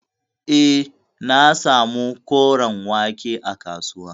Eh, na samu koren wake a kasuwa.